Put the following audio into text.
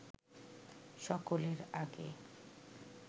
সকলের আগে